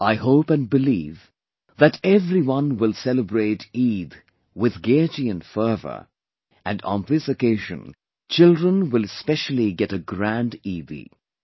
I hope and believe that everyone will celebrate Eid with gaiety and fervor and on this occasion children will specially get a grand 'Eidi'